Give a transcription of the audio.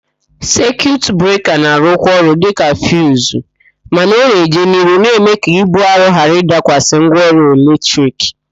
Sekiut breka na-arụkwa ọrụ dịka fiuzu mana ọ na-eje n'ihu na-ịme ka íbú arọ ghara ịdakwasị ngwaọrụ eletrik.